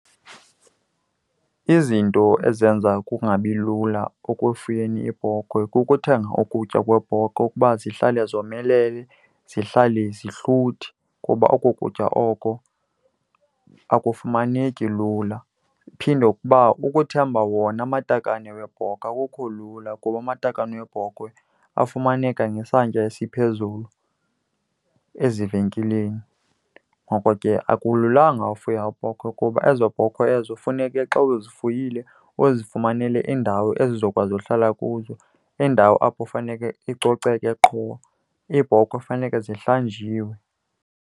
Izinto ezenza kungabi lula ekufuyeni iibhokhwe kukuthenga ukutya kweebhokhwe ukuba zihlale zomelele, zihlale zihluthi, kuba oko kutya oko akafumaneki lula. Phinde ukuba ukuthemba wona amatakane weebhokwe akukho lula, kuba amatakane weebhokwe afumaneka ngesantya esiphezulu ezivenkileni. Ngoko ke akululanga ufuya iibhokhwe kuba ezo bhokhwe ezo funeke xa uzifuyile uzifumanele iindawo ezizokwazi uhlala kuzo, indawo apho funeke icoceke qho. Iibhokhwe funeke zihlanjiwe.